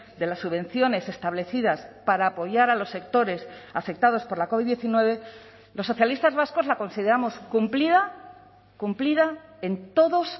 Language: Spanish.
de las subvenciones establecidas para apoyar a los sectores afectados por la covid diecinueve los socialistas vascos la consideramos cumplida cumplida en todos